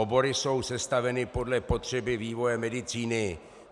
Obory jsou sestaveny podle potřeby vývoje medicíny.